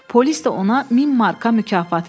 Polis də ona 1000 marka mükafat verib.